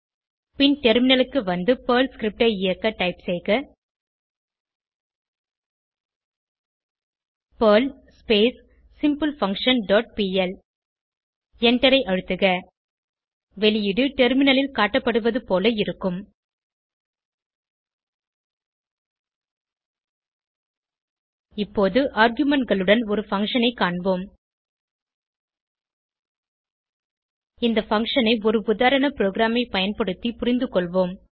பின் டெர்மினலுக்கு வந்து Perl script ஐ இயக்க டைப் செய்க பெர்ல் சிம்பிள்ஃபங்க்ஷன் டாட் பிஎல் எண்டரை அழுத்துக வெளியீடு டெர்மினலில் காட்டப்படுவது போல இருக்கும் இப்போது argumentகளுடன் ஒரு பங்ஷன் ஐ காண்போம் இந்த பங்ஷன் ஐ ஒரு உதாரண ப்ரோகிராமை பயன்படுத்தி புரிந்துகொள்வோம்